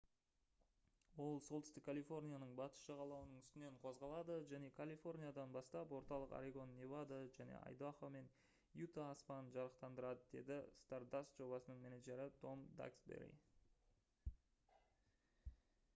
«ол солтүстік калифорнияның батыс жағалауының үстінен қозғалады және калифорниядан бастап орталық орегон невада және айдахо мен юта аспанын жарықтандырады» - деді stardust жобасының менеджері том даксбери